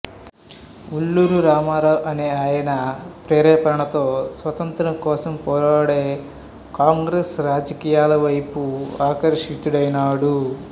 వల్లూరు రామారావు అనే ఆయన ప్రేరేపణతో స్వాతంత్ర్యం కోసం పోరాడే కాంగ్రెస్ రాజకీయాలవైపు ఆకర్షితుడైనాడు